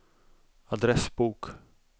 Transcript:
adressbok